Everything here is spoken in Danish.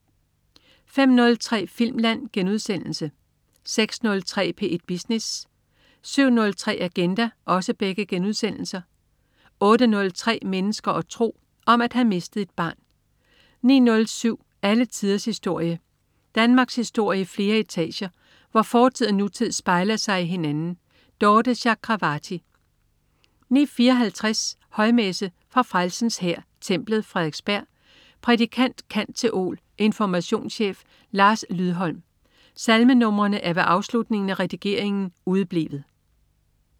05.03 Filmland* 06.03 P1 Business* 07.03 Agenda* 08.03 Mennesker og tro. Om at have mistet et barn 09.07 Alle tiders historie. Danmarkshistorie i flere etager, hvor fortid og nutid spejler sig i hinanden. Dorthe Chakravarty 09.54 Højmesse. Fra Frelsens Hær, Templet, Frederiksberg. Prædikant: Cand.theol., informationschef Lars Lydholm. (Salme numrene er ved afslutningen af redigeringen udeblevet)